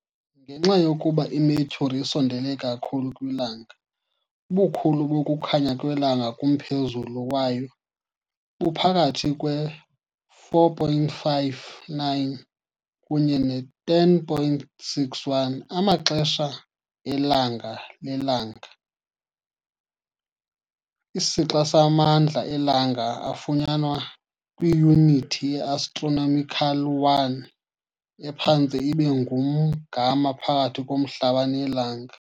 Ngenxa yokuba iMercury isondele kakhulu kwiLanga, ubukhulu bokukhanya kwelanga kumphezulu wayo buphakathi kwe-4.59 kunye ne-10.61 amaxesha elanga lelanga, isixa samandla eLanga afunyenwe kwiyunithi ye-astronomical 1, ephantse ibe ngumgama phakathi koMhlaba neLanga.